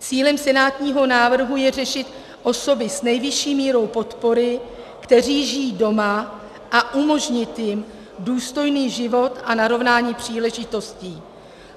Cílem senátního návrhu je řešit osoby s nejvyšší mírou podpory, kteří žijí doma, a umožnit jim důstojný život a narovnání příležitostí.